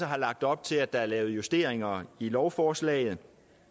har lagt op til at der er blevet lavet justeringer i lovforslaget